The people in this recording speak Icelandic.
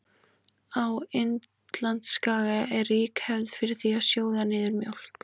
Á Indlandsskaga er rík hefð er fyrir því að sjóða niður mjólk.